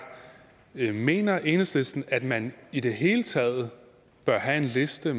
mener enhedslisten at man i det hele taget bør have en liste